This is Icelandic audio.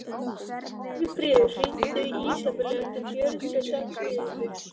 Steinfríður, hringdu í Ísabellu eftir fjörutíu og sex mínútur.